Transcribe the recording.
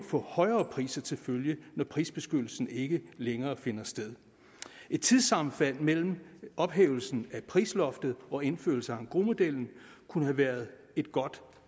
få højere priser til følge når prisbeskyttelsen ikke længere finder sted et tidssammenfald mellem ophævelsen af prisloftet og indførelsen af engrosmodellen kunne have været et godt